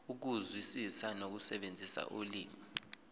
ukuzwisisa nokusebenzisa ulimi